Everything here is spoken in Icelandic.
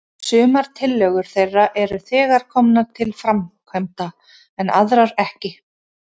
Sumar tillögur þeirra eru þegar komnar til framkvæmda, en aðrar ekki.